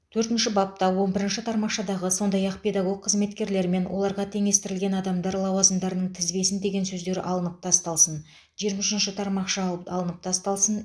төртінші бапта он бірінші тармақшадағы сондай ақ педагог қызметкерлер мен оларға теңестірілген адамдар лауазымдарының тізбесін деген сөздер алып тасталсын жиырма үшінші тармақша алып алынып тасталсын